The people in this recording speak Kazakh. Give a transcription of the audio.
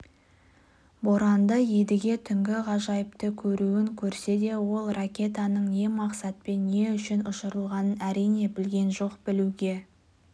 боранды едіге түнгі ғажайыпты көруін көрсе де ол ракетаның не мақсатпен не үшін ұшырылғанын әрине білген жоқ білуге